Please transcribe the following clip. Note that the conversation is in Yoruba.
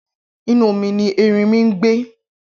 Inú omi ni erinmi ń gbé